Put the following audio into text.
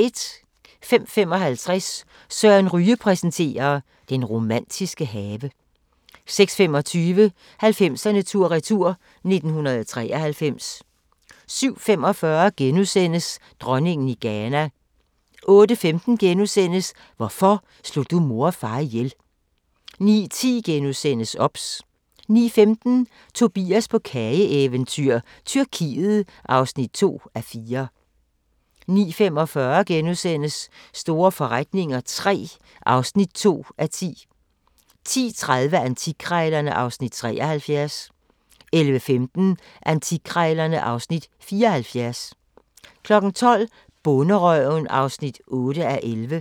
05:55: Søren Ryge præsenterer: Den romantiske have 06:25: 90'erne tur-retur: 1993 07:45: Dronningen i Ghana * 08:15: Hvorfor slog du mor og far ihjel? * 09:10: OBS * 09:15: Tobias på kageeventyr – Tyrkiet (2:4) 09:45: Store forretninger III (2:10)* 10:30: Antikkrejlerne (Afs. 73) 11:15: Antikkrejlerne (Afs. 74) 12:00: Bonderøven (8:11)